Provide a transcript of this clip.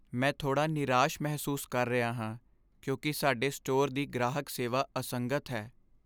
ਮੈਂ ਥੋੜ੍ਹਾ ਨਿਰਾਸ਼ ਮਹਿਸੂਸ ਕਰ ਰਿਹਾ ਹਾਂ ਕਿਉਂਕਿ ਸਾਡੇ ਸਟੋਰ ਦੀ ਗ੍ਰਾਹਕ ਸੇਵਾ ਅਸੰਗਤ ਹੈ।